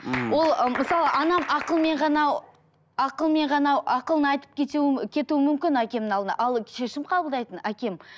ммм ол м мысалы анам ақылмен ғана ақылмен ғана ақылын айтып кетуі мүмкін әкемнің алдына ал шешім қабылдайтын әкем